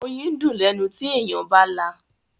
Oyín dùn lẹ́nu tí èèyàn bá là.